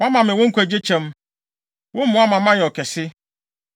Woama me wo nkwagye kyɛm. Wo mmoa ama mayɛ ɔkɛse.